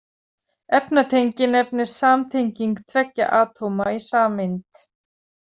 Efnatengi nefnist samtenging tveggja atóma í sameind.